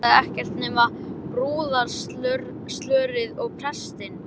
Vantaði ekkert nema brúðarslörið og prestinn.